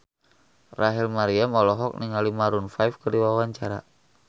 Rachel Maryam olohok ningali Maroon 5 keur diwawancara